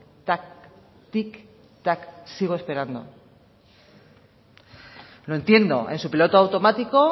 tic tac tic tac sigo esperando lo entiendo su piloto automático